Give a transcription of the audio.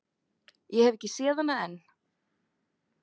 Ég hef ekki séð hana enn.